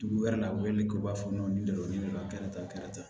Dugu wɛrɛ la u weleli k'u b'a fɔ nin de ma kɛra tan